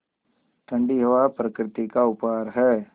ठण्डी हवा प्रकृति का उपहार है